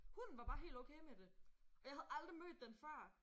Hun var bare helt okay med det! Og jeg havde aldrig mødt den før